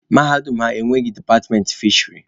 Mahadum ha enweghị departmentị fisheri.